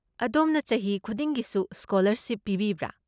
ꯑꯗꯣꯝꯅ ꯆꯍꯤ ꯈꯨꯗꯤꯡꯒꯤꯁꯨ ꯁ꯭ꯀꯣꯂꯔꯁꯤꯞ ꯄꯤꯕꯤꯕ꯭ꯔꯥ?